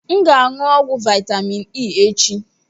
M ga-aṅụ ọgwụ vitamin E echi